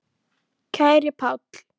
Kæri Páll.